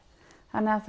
þannig að